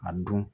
A dun